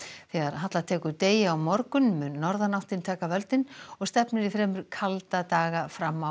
þegar halla tekur degi á morgun mun norðanáttin taka völdin og stefnir í fremur kalda daga fram á